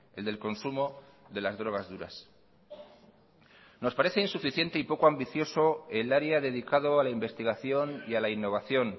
el del consumo de las drogas duras nos parece insuficiente y poco ambicioso el área dedicado a la investigación y a la innovación